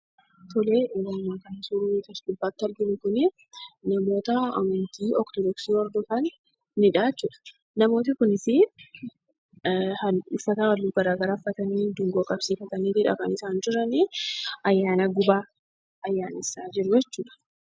Suuraan as gubbaatti arginu kun namoota amantii ortodoksii hordofanidha jechuudha. kunis uffata halluu garaagaraa uffatanii, dungoo qabsiifataniitidha kan isaan jiranii. Ayyaana gubaa ayyaanessaa jiruu jechuudha.